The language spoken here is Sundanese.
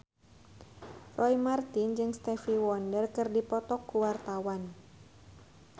Roy Marten jeung Stevie Wonder keur dipoto ku wartawan